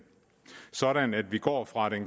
sådan at vi går fra